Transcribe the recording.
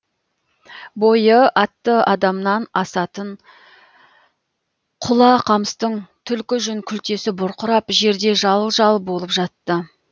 бойы атты адамнан асатын құла қамыстың түлкі жүн күлтесі бұрқырап жерде жал жал болып жатты